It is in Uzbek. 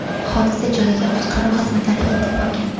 Hodisa joyiga qutqaruv xizmatlari yetib borgan.